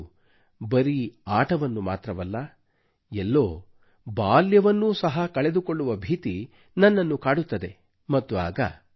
ಅದು ಬರೀ ಆಟವನ್ನು ಮಾತ್ರವಲ್ಲ ಎಲ್ಲೋ ಬಾಲ್ಯವನ್ನೂ ಸಹ ಕಳೆದು ಕೊಳ್ಳುವ ಭೀತಿ ನನ್ನನ್ನು ಕಾಡುತ್ತದೆ ಮತ್ತು ಆಗ